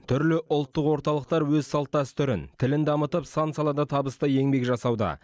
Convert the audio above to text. түрлі ұлттық орталықтар өз салт дәстүрін тілін дамытып сан салада табысты еңбек жасауда